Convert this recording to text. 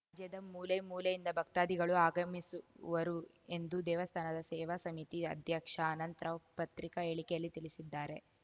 ರಾಜ್ಯದ ಮೂಲೆ ಮೂಲೆಯಿಂದ ಭಕ್ತಾದಿಗಳು ಆಗಮಿಸುವರು ಎಂದು ದೇವಸ್ಥಾನದ ಸೇವಾ ಸಮಿತಿ ಅಧ್ಯಕ್ಷ ಅನಂತ್‌ರಾವ್‌ ಪತ್ರಿಕಾ ಹೇಳಿಕೆಯಲ್ಲಿ ತಿಳಿಸಿದ್ದಾರೆ